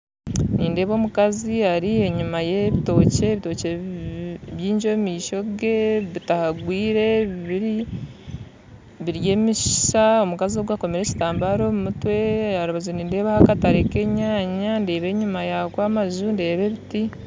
Nindeeba omukazi ari enyima y'ebitookye, ebitookye bingi omumaisho gye bitahangwire biri emisiisa omukazi ogwe akoomire ekitambara omu mutwe aharubaju ndeebaho ekatare nk'enyaanya ndeeba enyima yaako amanju ndeeba ebiti